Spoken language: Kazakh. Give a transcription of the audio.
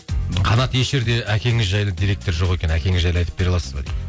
қанат еш жерде әкеңіз жайлы деректер жоқ екен әкеңіз жайлы айтып бере аласыз ба дейді